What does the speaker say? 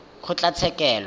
kgotlatshekelo